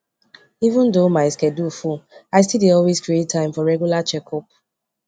even though my schedule full i still dey always create space for regular checkup